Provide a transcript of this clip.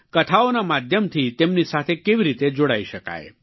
કથાઓના માધ્યમથી તેમની સાથે કેવી રીતે જોડાઈ શકાય